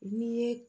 N'i ye